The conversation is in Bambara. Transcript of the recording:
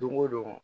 Don o don